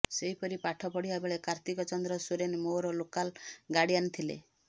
ସେହିପରି ପାଠ ପଢ଼ିବା ବେଳେ କାର୍ତ୍ତିକ ଚନ୍ଦ୍ର ସୋରେନ୍ ମୋର ଲୋକାଲ୍ ଗାର୍ଡିଆନ୍ ଥିଲେ